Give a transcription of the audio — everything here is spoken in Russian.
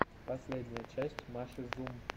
последняя часть маши зум